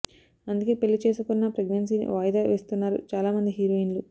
అందుకే పెళ్లి చేసుకున్నా ప్రెగ్నెన్సీని వాయిదా వేస్తున్నారు చాలా మంది హీరోయిన్లు